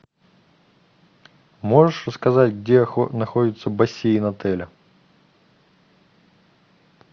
можешь рассказать где находится бассейн отеля